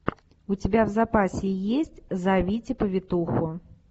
у тебя в запасе есть зовите повитуху